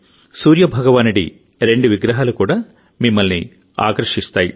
సూర్య భగవానుడి రెండు విగ్రహాలు కూడా మిమ్మల్ని ఆకర్షిస్తాయి